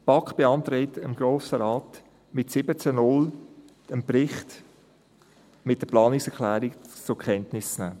Die BaK beantragt dem Grossen Rat mit 17 zu 0 Stimmen, den Bericht mit der Planungserklärung zur Kenntnis zu nehmen.